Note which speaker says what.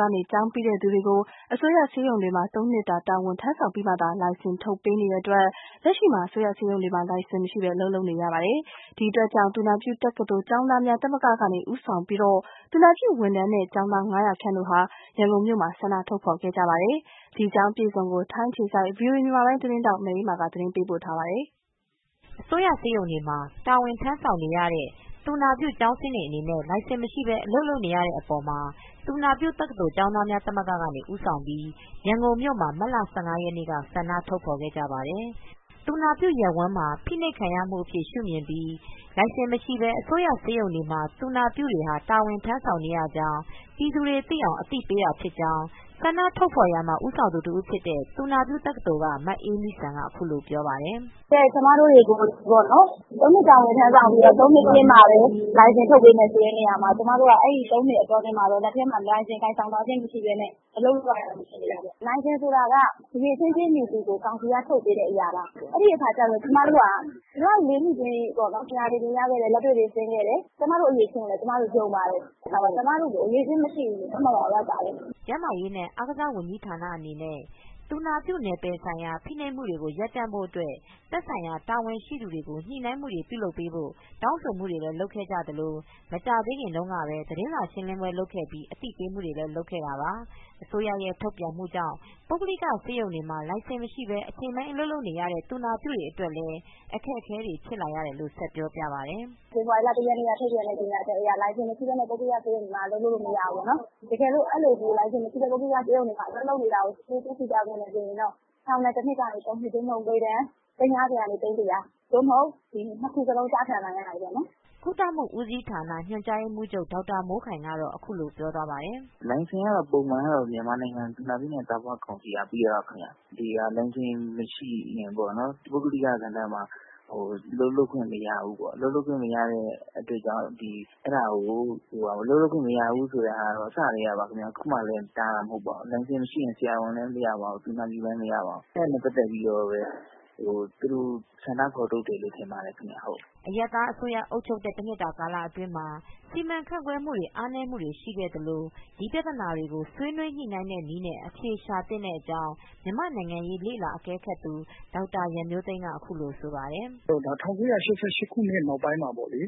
Speaker 1: ကနေ ကျောင်းပြီးတဲ့သူတွေကို ၃နှစ်တာ အစိုးရဆေးရုံတွေမှာ တာဝန်ထမ်းဆောင်ပြီးမှ လိုင်စင်ထုတ်ပေးနေတဲ့ အတွက် အစိုးရဆေးရုံတွေမှာ လိုင်စင်မရှိပဲ လုပ်နေရကြောင်း သူနာပြုတက္ကသိုလ်ကျောင်းသားများ သမဂ္ဂကနေ ဦးဆောင်ပြီး သူနာပြု ဝန်ထမ်းနဲ့ ကျောင်းသား ၅၀၀ခန့်ဟာ ရန်ကုန်မြို့မှာ ဆန္ဒထုတ်ဖော်ခဲ့ပါတယ်။ ဒီအကြောင်း မအေးအေးမာက သတင်းပေးပို့ ထားပါတယ်။ အစိုးရဆေးရုံတွေမှာ တာဝန်ထမ်းဆောင်နေတဲ့ သူနာပြုကျောင်းဆင်းတွေဟာ လိုင်စင်မရှိပဲ အလုပ်လုပ်နေရတဲ့ အပေါ်မှာ သူနာပြုတက္ကသိုလ်ကျောင်းသားများသမဂ္ဂကနေ ဦးဆောင်ပြီး ရန်ကုန်မြို့ မှာမတ်လ ၁၅ရက်နေ့မှာ ဆန္ဒပြထုတ်ဖော်ခဲ့ကြပါတယ်။ ဒါဟာသူနာပြုရပ်ဝန်းမှာ ဖိနှိပ်ခံရမူအဖြစ် ရူမြင်ပြီး လိုင်စင်မရှိပဲ အစိုးရဆေးရုံ တွေမှာ သူနာပြုတွေ တာဝန်ထမ်းဆောင်နေရကြောင်း ပြည်သူတွေ သိအောင်အသိပေးတာဖြစ်ကြောင်း ဆန္ဒထုတ်ဖော်မူမှာ ဦးဆောင်သူတဦးဖြစ်တဲ့ သူနာပြုတက္ကသိုလ်က မအေးမီစံက အခုလိုပြောပြပါတယ်။ “ကျမတို့တွေကို
Speaker 2: ၃ နှစ်တာဝန်ထမ်းဆောင်ပြီးတော့ ၃ နှစ်ပြီးမှပဲ လိုင်စင်ထုတ်ပေးမယ် ဆိုတဲ့နေရာမှာ ကျမတို့က အဲဒီ ၃ နှစ်အတွင်းမှာ လက်ထဲမှာ လိုင်စင်ကိုင်ဆောင်ထားခြင်းမရှိပဲနဲ့ အလုပ်လုပ်ရတာဖြစ်နေတာပေါ့။ လိုင်စင်ဆိုတာက အရည်အချင်းပြည့်မှီသူကို ကောင်စီက ထုတ်ပေးတဲ့အရပါ။ အဲဒီအခါကျတော့ ကျမတို့က ဒီလောက် ၄ နှစ်ကြီး ပညာတွေ သင်ကြားခဲ့တယ်၊ လက်တွေ့တွေဆင်းခဲ့တယ်။ ကျမတို့အရည်အချင်းကိုလည်း ကျမတို့ ယုံပါတယ်။ ဒါပေမယ့် အခုက ကျမတို့ကို အရည်အချင်းမရှိဘူးလို့ သတ်မှတ်ရာရောက်ပါတယ်
Speaker 1: ။” ကျန်းမာရေးနှင့်အားကစားဝန်ကြီးဌာနအနေနဲ့သူနာပြုနယ်ပယ်ဆိုင်ရာ ဖိနှိပ်မှုတွေကို ရပ်တန့်ဖို့အတွက် သက်ဆိုင်ရာတာဝန်ရှိသူတွေကို ညှိနှိုင်းမူတွေ လုပ်ပေးဖို့ တောင်းဆို မူတွေ လုပ်ခဲ့ သလို မကြာသေးခင်တုန်းပဲ သတင်းစာရှင်းလင်းပွဲလုပ်ခဲ့ပြီး အသိပေးမူတွေ လုပ်ခဲ့တာပါ။ အစိုးရရဲ့ ထုတ်ပြန်မူကြောင့် ပုဂ္ဂလိကဆေးရုံတွေမှာ လိုင်စင်မရှိပဲ အချိန်ပိုင်း အလုပ်လုပ်နေရတဲ့ သူနာပြုတွေအတွက် အခက်အခဲတွေဖြစ်လာတယ်လို့လည်း ဆက်ပြောပြပါတယ်။ “ဖေဖော်ဝါ
Speaker 2: ရီလ ၁ ရက်နေ့က ထုတ်ပြန်တဲ့ကြေညာချက်အရ လိုင်စင်မရှိပဲနဲ့ ပုဂ္ဂလိကဆေးရုံတွေမှာ အလုပ်လုပ်လို့မရဘူးပေါ့နော်။ တကယ်လို့ လိုင်စင်မရှိပဲနဲ့ ပုဂ္ဂလိကဆေးရုံတွေမှာ အလုပ်လုပ် နေတာကို တွေ့ခဲ့မယ်ဆိုရင် ထောင်ဒဏ် ၁ နှစ်ကနေ ၃ နှစ် သို့မဟုတ် ငွေဒဏ် သိန်း ၅၀ ကနေ သိန်း ၁၀၀ ၂ ခုစလုံး ကျခံနိုင်သည်ပေါ့နော်။”
Speaker 1: ကုသမှုဦးစီးဌာန ညွန်ကြားရေးမှူးချုပ် ဒေါက်တာမိုးခိုင်ကတော့ အခုလိုပြောသွားပါတယ်။ “လိုင်စင်ကတော့ ပ
Speaker 2: ုံမှန်ကတော့ မြန်မာနိုင်ငံ သူနာပြုနဲ့ သားဖွားကောင်စီ က ပေးတာ ပါခင်ဗျ။ ဒီ လိုင်စင်မရှိရင်ပေါ့နော် ပုဂ္ဂလိကဏ္ဍမှာ အလုပ်လုပ်ခွင့်မရဘူးပေါ့နော် အလုပ်လုပ်ခွင့်မရတဲ့အတွက်ကြောင့် ။အလုပ်လုပ်ခွင့်မရဘူးဆိုတာကတော့ အစကတည်းကပါ အခုမှ တားတာမဟုတ်ပါဘူး။ လိုင်စင်မရှိရင် ဆရာဝန်လည်းမရပါဘူး သူနာပြုလည်းမရပါဘူး။အဲဒါကို သူတို့ ဆန္ဒဖော်ထုတ်တယ်လို့ ထင်ပါတယ်ခင်ဗျ။
Speaker 1: ” အရပ်သားအစိုးရအုပ်ချုပ်တဲ့ တနှစ်တာကာလအတွင်းမှာ စီမံခန့်ခွဲမူတွေ အားနည်းမူတွေ ရှိခဲ့သလို ဒီပြဿနာကို ဆွေးနွေးညှိနှိုင်းတဲ့နည်းနဲ့ အဖြေရှာ သင့်ကြောင်းမြန်မာနိုင်ငံရေးလေ့လာသူ ဒေါက်တာရန်မျိုးသိန်း က အခုလိုပြောဆိုပါတယ်။ “
Speaker 3: ဒါက ၁၉၈၈ ခုနှစ်နောက်ပိုင်းမှာပေါ့လေ